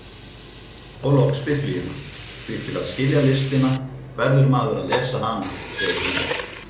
Og loks Biblíuna, því til að skilja listina verður maður að lesa hana segir hún.